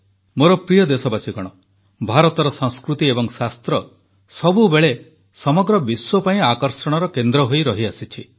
ମୋର ପ୍ରିୟ ଦେଶବାସୀଗଣ ଭାରତର ସଂସ୍କୃତି ଏବଂ ଶାସ୍ତ୍ର ସବୁବେଳେ ସମଗ୍ର ବିଶ୍ୱ ପାଇଁ ଆକର୍ଷଣର କେନ୍ଦ୍ର ହୋଇ ରହିଆସିଛି